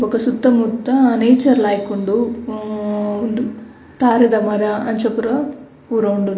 ಬೊಕ ಸುತ್ತ ಮುತ್ತ ನೇಚರ್ ಲಾಯ್ಕ್ ಉಂಡು ಹ್ಮ್ ಉಂದು ತಾರಾಯಿದ ಮರ ಅಂಚ ಪೂರ ಪೂರ ಉಂಡು.